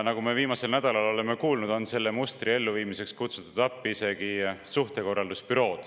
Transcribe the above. Nagu me viimasel nädalal oleme kuulnud, on selle mustri elluviimiseks kutsutud appi isegi suhtekorraldusbüroo.